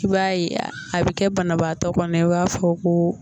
K'i b'a ye a, a bɛ kɛ banabaatɔ kɔnɔ i b'a fɔ ko.